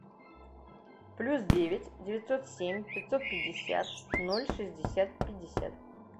плюс девять девятьсот семь пятьсот пятьдесят ноль шестьдесят пятьдесят